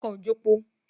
Ọkọ̀ ò jepo.